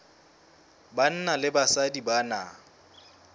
banna le basadi ba na